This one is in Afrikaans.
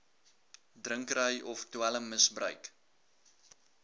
drinkery of dwelmgebruik